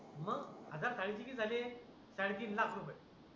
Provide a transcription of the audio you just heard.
मग हजार थाळीचे किती झाले साडेतीन लाख रुपये